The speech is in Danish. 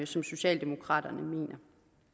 som socialdemokraterne mener